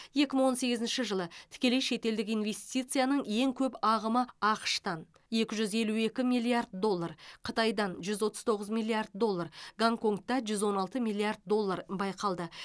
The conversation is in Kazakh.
екі мың он сегізінші жылы тікелей шетелдік инвестицияның ең көп ағымы ақш тан екі жүз елу екі миллиард доллар қытайдан жүз отыз тоғыз миллиард доллар гонконгта жүз он алты миллиард доллар байқалды